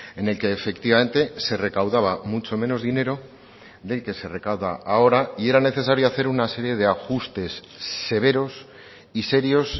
en el que efectivamente se recaudaba mucho menos dinero del que se recauda ahora y era necesario hacer una serie de ajustes severos y serios